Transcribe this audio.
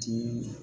Diinɛ